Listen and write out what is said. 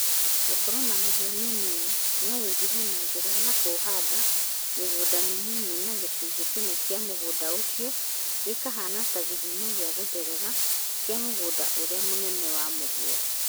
Gũkoragwo na mũhĩa mũnini no ũingĩhe na njĩra ya kũhanda mĩgũnda mĩnini na gĩcunjĩ kĩmwe kĩa mũgũnda ũcio gĩkahaana ta gĩthima gĩa gũtherera kĩa mũgũnda ũrĩa mĩnene wa mũhĩa.